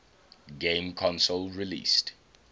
game console released